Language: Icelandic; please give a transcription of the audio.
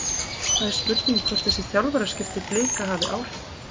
Það er spurning hvort þessi þjálfaraskipti Blika hafi áhrif?